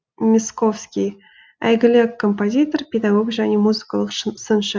мясковский әйгілі композитор педагог және музыкалық сыншы